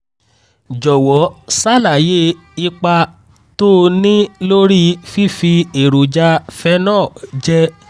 jọ̀wọ́ ṣàlàyé ipa tó ń ní lórí fífi èròjà phenol jẹ